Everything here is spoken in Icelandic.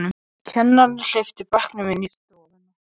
Kennarinn hleypti bekknum inn í stofu.